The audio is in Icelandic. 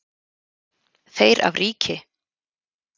Þeir af ríki